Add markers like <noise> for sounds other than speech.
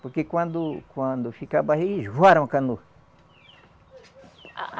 Porque quando quando fica <unintelligible>